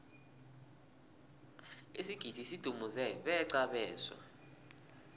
isigidi sidumuze beqa abeswa